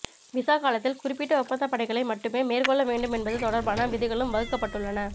visa காலத்தில் குறிப்பிட்ட ஒப்பந்தப் பணிகளை மட்டுமே மேற்கொள்ள வேண்டும் என்பது தொடர்பான விதிகளும் வகுக்கப்பட்டுள்ளன